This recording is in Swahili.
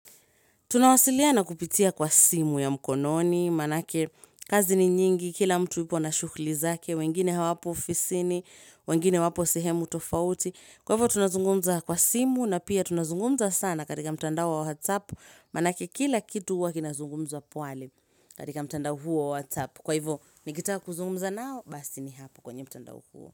Tunawasilia na kupitia kwa simu ya mkononi, manake kazi ni nyingi, kila mtu ipo na shughulu zake, wengine hawapo ofisini, wengine wapo sehemu tofauti. Kwa hivyo tunazungumza kwa simu na pia tunazungumza sana katika mtanda wa whatsapp manake kila kitu hua kinazungumzwa pale katika mtanda huo WhatsApp Kwa hivyo, nikitaka kuzungumza nao, basi ni hapo kwenye mtanda huo.